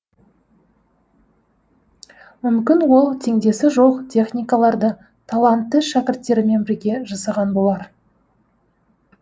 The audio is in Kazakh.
мүмкін ол теңдесі жоқ техникаларды талантты шәкірттерімен бірге жасаған болар